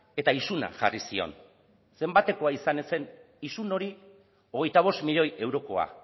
eta isuna jarri zion zenbatekoa izan ez zen isun hori hogeita bost milioi eurokoa